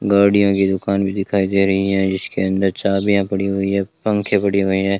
गाड़ियों की दुकान भी दिखाई दे रही है इसके अंदर चाबियां पड़ी हुई हैं पंखे पड़े हुए हैं।